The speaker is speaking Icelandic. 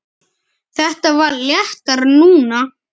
Þetta var léttara núna.